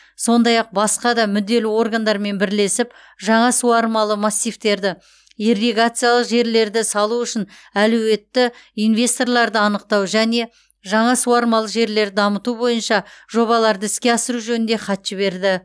сондай ақ басқа да мүдделі органдармен бірлесіп жаңа суармалы массивтерді ирригациялық желілерді салу үшін әлеуетті инвесторларды анықтау және жаңа суармалы жерлерді дамыту бойынша жобаларды іске асыру жөнінде хат жіберді